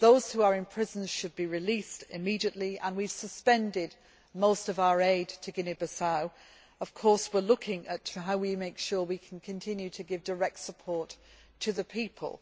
Those who are in prison should be released immediately, and we have suspended most of our aid to Guinea Bissau. We are, of course, looking at how to make sure we can continue to give direct support to the people.